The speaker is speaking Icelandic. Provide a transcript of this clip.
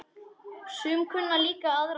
Sum kunna líka aðrar bænir.